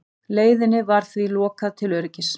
Leiðinni var því lokað til öryggis